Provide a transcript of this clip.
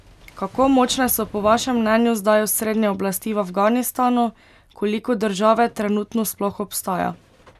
Kako močne so po vašem mnenju zdaj osrednje oblasti v Afganistanu, koliko države trenutno sploh obstaja?